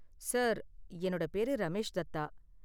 Sir, என்னோட பேரு ரமேஷ் தத்தா.